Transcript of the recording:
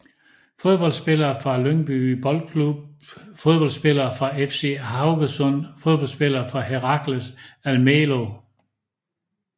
Fodboldspillere fra Lyngby Boldklub Fodboldspillere fra FK Haugesund Fodboldspillere fra Heracles Almelo